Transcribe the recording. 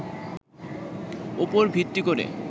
উপর ভিত্তি করে